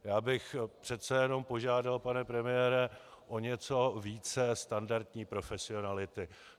Já bych přece jenom požádal, pane premiére, o něco více standardní profesionality.